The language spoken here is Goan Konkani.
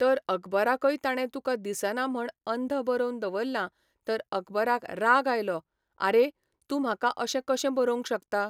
तर अकबराकय ताणें तुका दिसना म्हण अंध बरोवन दवरलां तर अकबराक राग आयलो, आरें! तूं म्हाका अशें कशें बरोवंक शकता